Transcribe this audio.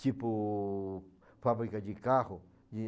Tipo, fábrica de carro.